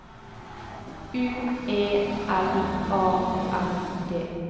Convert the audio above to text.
U E L A N D